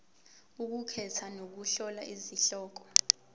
ukukhetha nokuhlola izihloko